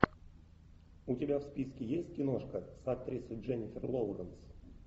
у тебя в списке есть киношка с актрисой дженнифер лоуренс